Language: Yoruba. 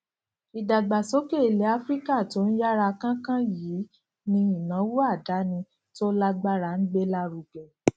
ìdàgbàsókè ilè áfíríkà tó ń yára kánkán yìí ni ìnáwó àdáni tó lágbára ń gbé lárugẹ